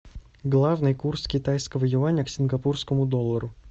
главный курс китайского юаня к сингапурскому доллару